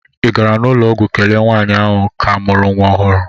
ị gara n'ụlọ ọgwụ kelee nwanyị ahụ ka mụrụ nwa ohuru?